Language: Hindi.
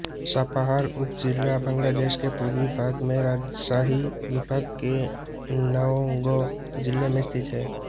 सापाहार उपजिला बांग्लादेश के पूर्वी भाग में राजशाही विभाग के नओगाँ जिले में स्थित है